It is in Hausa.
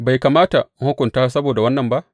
Bai kamata in hukunta su saboda wannan ba?